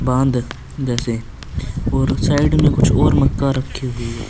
बंद जैसे और साइड में कुछ और मक्का रखी हुई हैं।